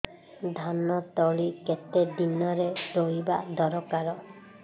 ଧାନ ତଳି କେତେ ଦିନରେ ରୋଈବା ଦରକାର